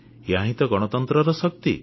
ଏହାହିଁ ତ ଗଣତନ୍ତ୍ରର ଶକ୍ତି